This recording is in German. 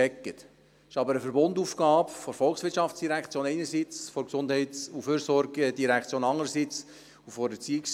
Es ist aber eine Verbundaufgabe zwischen der VOL einerseits, der GEF andererseits und der ERZ.